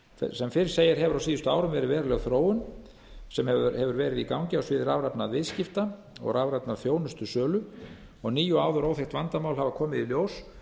sem fyrr segir hefur á síðustu árum verið veruleg þróun sem hefur verið í gangi á sviði rafrænna viðskipta og rafrænnar þjónustusölu og ný og áður óþekkt vandamál komið í ljós